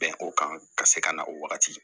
Bɛn o kan ka se ka na o wagati